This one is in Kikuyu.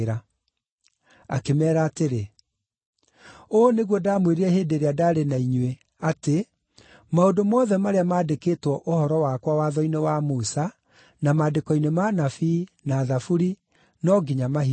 Akĩmeera atĩrĩ, “Ũũ nĩguo ndamwĩrire hĩndĩ ĩrĩa ndaarĩ na inyuĩ atĩ: Maũndũ mothe marĩa mandĩkĩtwo ũhoro wakwa Watho-inĩ wa Musa, na Maandĩko-inĩ ma Anabii, na Thaburi, no nginya mahingio.”